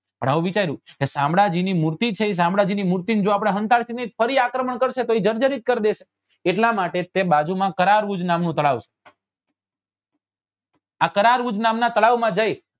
પણ આવું વિચાર્યું કે શામળાજી ની મૂર્તિ છે એ શામળાજી ની મૂર્તિ ને જો આપડે સંતાડી દેશું તો એ ફરી આક્રમણ કરશે તો એ જર્જરિત કર દેશે એટલા માટે તે બાજુ માં કરાર્વુજ નામ નું તળાવ છે આ કરાર્વુજ નામ ના તળાવ માં જઈ